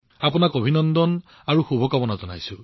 গতিকে অভিনন্দন আৰু আপোনাক শুভকামনা জনাইছো